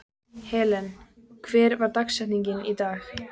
Helen, hver er dagsetningin í dag?